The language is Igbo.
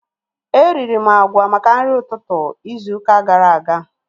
Eriri m agwa maka nri ụtụtụ izu ụka gara aga